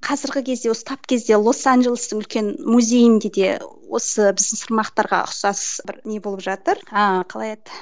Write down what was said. қазіргі кезде осы тап кезде лос анжелестің үлкен музейінде де осы біздің сырмақтарға ұқсас бір не болып жатыр ыыы қалай еді